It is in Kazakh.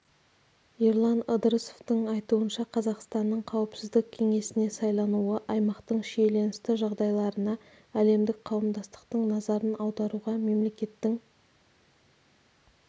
ерлан ыдырысовтың айтуынша қазақстанның қауіпсіздік кеңесіне сайлануы аймақтың шиеленісті жағдайларына әлемдік қауымдастықтың назарын аударуға мемлекеттің